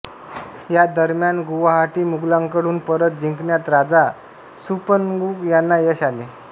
या दरम्यान गुवाहाटी मुघलांकडून परत जिंकण्यात राजा सुपन्मुग यांना यश आले